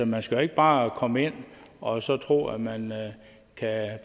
man skal jo ikke bare komme ind og så tro at man kan